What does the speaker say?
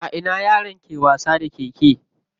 A ina yaran ke wasa da keke?